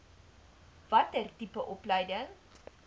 watter tipe opleiding